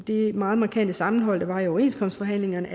det meget markante sammenhold der var i overenskomstforhandlingerne